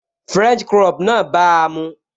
French crop náà bàa mu